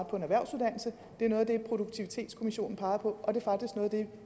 på en erhvervsuddannelse det er noget af det produktivitetskommissionen peger på og det